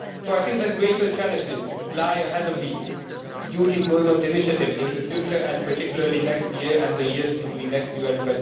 So I think that greater challenges lie ahead of the Youth Employment Initiative in the future, particularly next year and the years between next year and